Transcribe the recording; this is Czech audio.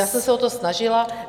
Já jsem se o to snažila.